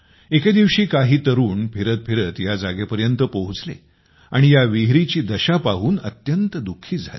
एके दिवशी काही तरुण फिरतफिरत या जागेपर्यंत पोहोचले आणि या विहिरीची दशा पाहून अत्यंत दुःखी झाले